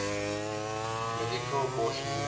medical abortion using